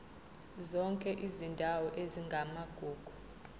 zonke izindawo ezingamagugu